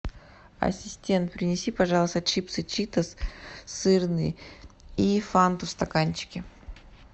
ассистент принеси пожалуйста чипсы читос сырные и фанту в стаканчике